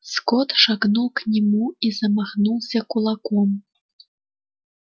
скотт шагнул к нему и замахнулся кулаком